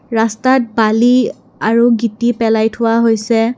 ৰাস্তাত বালি আৰু গিটি পেলাই থোৱা হৈছে।